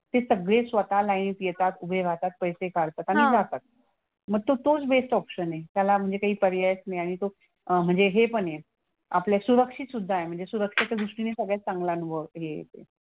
ते सगळे स्वतः लायनीत येतात, उभे राहतात, पैसे काढतात आणि जातात. मग तो तोच बेस्ट ऑप्शन आहे. त्याला म्हणजे काही पर्यायच नाही आणि तो म्हणजे हे पण आहे. आपला सुरक्षितसुद्धा आहे म्हणजे सुरक्षेच्या दृष्टीने सगळ्यात चांगला अनुभव येतो.